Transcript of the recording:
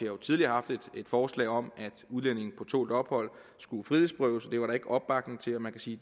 jo tidligere haft et forslag om at udlændinge på tålt ophold skulle frihedsberøves og det var der ikke opbakning til man kan sige